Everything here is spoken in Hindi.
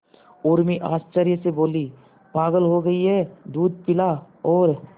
उर्मी आश्चर्य से बोली पागल हो गई है दूध पिला और